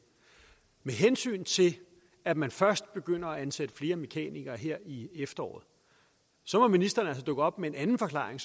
med hensyn til at man først begynder at ansætte flere mekanikere her i efteråret så må ministeren altså dukke op med en anden forklaring